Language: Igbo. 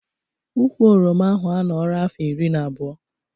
Ụkwụ oroma ahụ a nọra afọ iri na abụọ